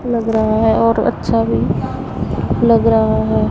लग रहा है और अच्छा भी लग रहा है।